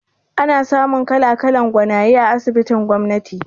Ana samun kala-kalan gwanaye a asibitin gwamnati